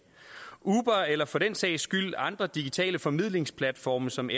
uber eller for den sags skyld andre digitale formidlingsplatforme som